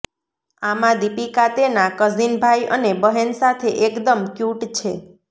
આમાં દીપિકા તેના કઝિન ભાઈ અને બહેન સાથે એકદમ ક્યૂટ છે